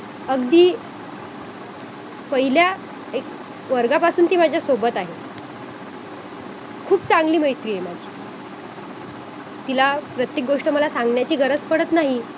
अगदी पहिल्या एक वर्गापासून ती माझ्या सोबत आहे खूप चांगली मैत्रिण आहे माझी तिला प्रत्येक गोष्ट मला सोन्याची गरज पडत नाही